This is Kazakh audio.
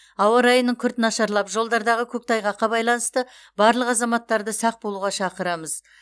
ауа райының күрт нашарлап жолдардағы көктайғаққа байланысты барлық азаматтарды сақ болуға шақырамыз